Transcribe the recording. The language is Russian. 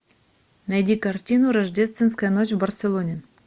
найди картину рождественская ночь в барселоне